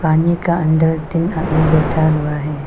पानी का अंदर तीन आदमी बैठा हुआ है।